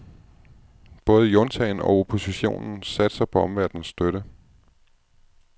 Både juntaen og oppositionen satser på omverdens støtte.